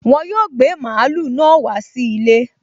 Wọn yóò gbé mààúlù náà wá sí ilé